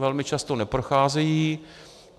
Velmi často neprocházejí.